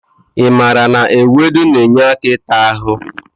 I maara na ewedu na-enye aka ịta ahụ?